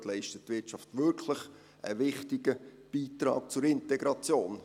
Dort leistet die Wirtschaft wirklich einen wichtigen Beitrag zur Integration.